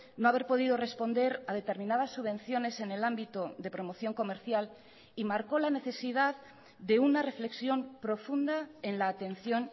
no haber podido responder a determinadas subvenciones en el ámbito de promoción comercial y marcó la necesidad de una reflexión profunda en la atención